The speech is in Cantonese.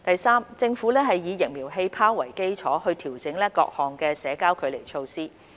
三政府以"疫苗氣泡"為基礎，調整各項社交距離措施。